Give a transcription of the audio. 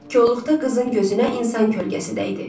Kolluqda qızın gözünə insan kölgəsi dəydi.